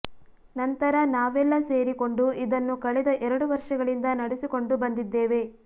ನಂತರ ನಾವೆಲ್ಲ ಸೇರಿಕೊಂಡು ಇದನ್ನು ಕಳೆದ ಎರಡು ವರ್ಷಗಳಿಂದ ನಡೆಸಿಕೊಂಡು ಬಂದಿದ್ದೇವೆ